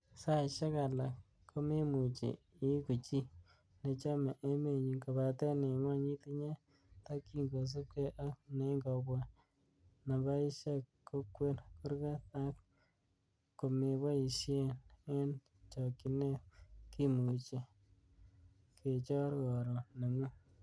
Saisiek alak komemuche iigu chi nechome emenyin, kobaten en gwony itinye tokyin kosiibge ak neingobwa napasisiek kokwer kurgat ak komeboishein en chokchinet, kimuche kechor koroon neng'ung.